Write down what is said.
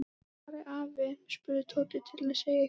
Hvar er afi? spurði Tóti til að segja eitthvað.